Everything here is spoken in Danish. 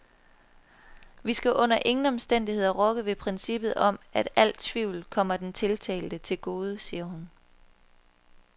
Vi skal under ingen omstændigheder rokke ved princippet om, at al tvivl kommer den tiltalte til gode, siger hun.